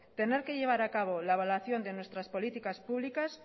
tener que llevar acabo la evaluación de nuestras políticas públicas